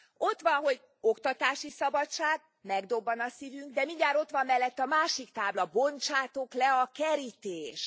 Ott van, hogy oktatási szabadság, megdobban a szívünk, de mindjárt ott van mellette a másik tábla Bontsátok le a kerítést!.